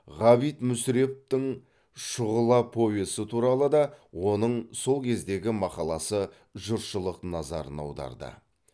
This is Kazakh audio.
ғабит мүсіреповтің шұғыла повесі туралы да оның сол кездегі мақаласы жұртшылық назарын аударды